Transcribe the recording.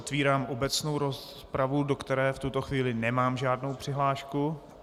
Otvírám obecnou rozpravu, do které v tuto chvíli nemám žádnou přihlášku.